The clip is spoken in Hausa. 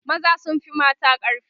maza sun Fi mata ƙarfi